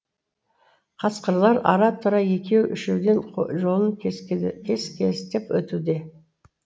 қасқырлар ара тұра екеу үшеуден жолын кес кестеп өтуде